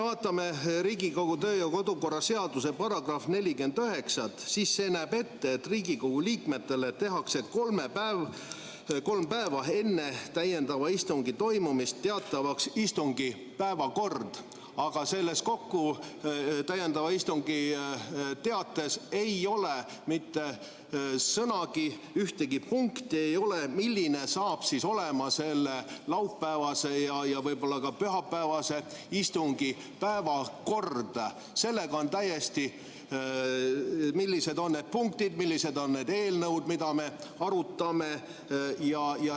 Vaatame Riigikogu kodu- ja töökorra seaduse § 49, see näeb ette, et Riigikogu liikmetele tehakse kolm päeva enne täiendava istungi toimumist teatavaks istungi päevakord, aga selles täiendava istungi teates ei ole mitte sõnagi selle kohta, ühtegi punkti ei ole, milline on laupäevase ja võib-olla ka pühapäevase istungi päevakord, st millised on need punktid, millised on need eelnõud, mida me arutame.